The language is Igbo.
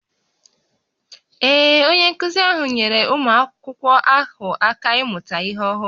Ee, onye nkụzi ahụ nyeere ụmụ akwụkwọ ahụ aka ịmụta ihe ọhụrụ